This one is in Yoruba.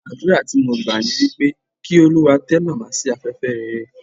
Àdúrà tí mo gbà ni wípé, kí Olúwa tẹ́ Màmá sí afẹ́fẹ́ rere.